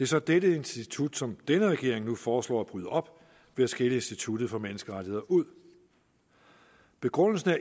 så dette institut som denne regering nu foreslår at bryde op ved at skille instituttet for menneskerettigheder ud begrundelsen